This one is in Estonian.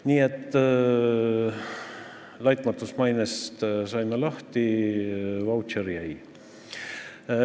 Nii et laitmatust mainest saime lahti, vautšer jäi.